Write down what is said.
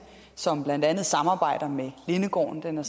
som blandt andet samarbejder med lindegården den er